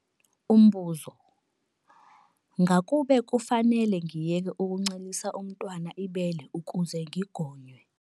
Umbuzo- Ngakube kufanele ngiyeke ukuncelisa umntwana ibele ukuze ngigonywe?